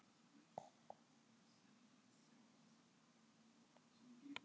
Runi, hvernig er veðrið í dag?